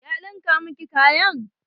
Ya ɗinka miki kayan?